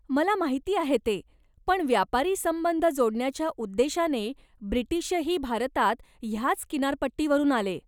मला माहिती आहे ते, पण व्यापारी संबंध जोडण्याच्या उद्देशाने ब्रिटिशही भारतात ह्याच किनारपट्टीवरून आले.